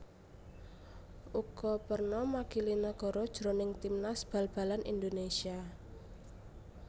Uga perna makili negara jroning timnas bal balan Indonesia